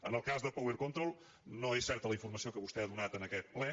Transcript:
en el cas de power controls no és certa la informació que vostè ha donat en aquest ple